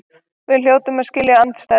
Við hljótum að skilja andstæður.